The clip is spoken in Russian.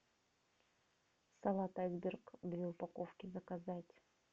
салат айсберг две упаковки заказать